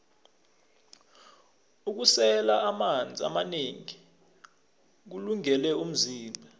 ukusela amanzi amanengi kuwulungele umzimba